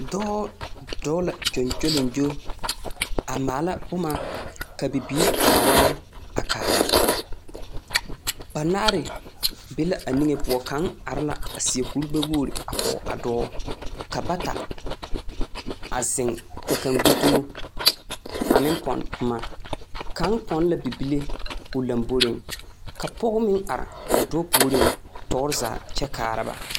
Dɔɔ, dɔɔ la gyoŋgyoliŋgyo, a maala boma ka bibiiri ba wae a kaara. Banaare be la a niŋe poɔ a kaara. Kaŋ are la a seɛ kurigbɛwogiri a kɔge a dɔɔ. Ka bata zeŋ, ka kaŋ gbi dumo, a meŋ pɔnne boma. Kaŋ pɔnne la bibile o lamboriŋ, ka pɔge meŋ are tɔɔre zaa kyɛ kaara ba.